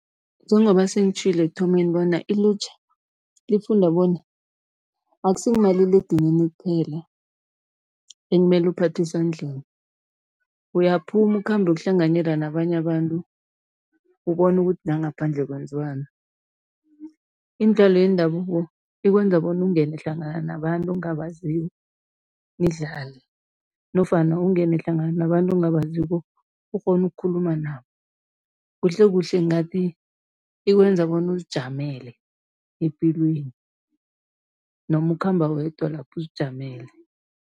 Njengoba sengitjhilo ekuthomeni bona ilutjha lifunda bona, akusingumaliledinini kuphela ekumele uphathwe esandleni. Uyaphuma, ukhambe uyokuhlanganyela nabanye abantu, ubone ukuthi la ngaphandle kwenziwani. Imidlalo yendabuko ikwenza bona ungene hlangana nabantu ongabaziko nidlale nofana ungene hlangana nabantu ongabaziko, ukghone ukukhuluma nabo, kuhlekuhle ngingathi ikwenza bona uzijamele epilweni, noma ukhamba wedwa lapha, uzijamele.